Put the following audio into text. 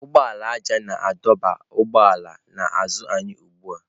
Ụgbọala ájá na-adọba ụgbọala n'azụ anyị ugbu a.